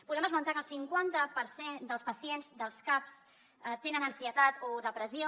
podem esmentar que el cinquanta per cent dels pacients dels caps tenen ansietat o depressió